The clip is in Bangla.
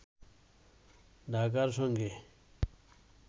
ঢাকার সঙ্গে